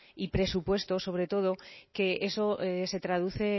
y presupuestos sobre todo que eso se traduce